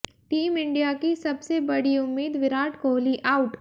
team India की सबसे बड़ी उम्मीद विराट कोहली आउट